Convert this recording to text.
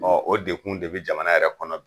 Ɔn o dekun de be jamana yɛrɛ kɔnɔ bi.